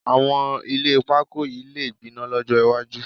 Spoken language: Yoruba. Àwọn ilé pakó yìí lè gbaná lọ́jọ́ iwájú